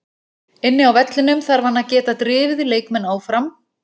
Inni á vellinum þarf hann að geta drifið leikmenn áfram.